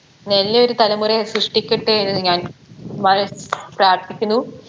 നല്ലയൊരു തലമുറയെ സൃഷ്ടിക്കട്ടെ എന്ന് ഞാൻ വളരെ പ്രാർത്ഥിക്കുന്നു